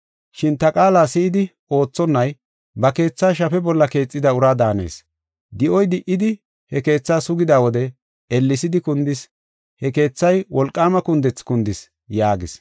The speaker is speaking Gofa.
Shin ta qaala si7idi oothonay ba keetha shafe bolla keexida ura daanees. Di7oy di77idi he keethaa sugida wode ellesidi kundis. He keethay wolqaama kundethi kundis” yaagis.